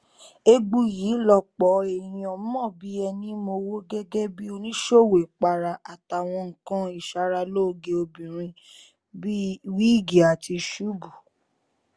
egbù yìí lọ̀pọ̀ èèyàn mọ̀ bíi ẹni mowó gẹ́gẹ́ bíi oníṣòwò ìpara àtàwọn nǹkan ìṣaralóge obìnrin bíi wíìgì àti ṣubú